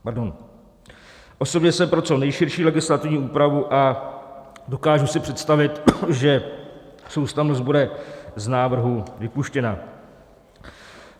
Osobně jsem pro co nejširší legislativní úpravu a dokážu si představit, že soustavnost bude z návrhu vypuštěna.